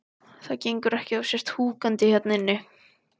Það gengur ekki að þú sért húkandi hérna inni.